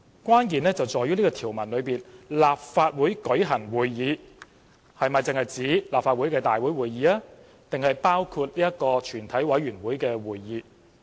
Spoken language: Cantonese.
關鍵在於該條文中"立法會舉行會議"只是指立法會會議，還是包括全委會會議。